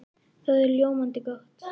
Það er ljómandi gott!